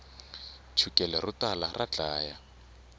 chukele ro tala ra dlaya